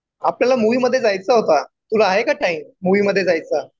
आपल्याला मुव्ही मध्ये जायचं होता, तुला आहे का टाइम मूवी मध्ये जायचा ?